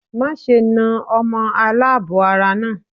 Má ṣe na ọmọ aláàbọ̀ ara náà.